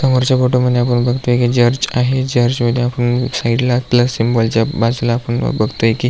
समोरच्या फोटो मध्ये आपण बगतोय की चर्च आहे चर्च मध्ये आपण साइड ला प्लस सिम्बाॅल च्या बाजुला आपण बगतोय कि --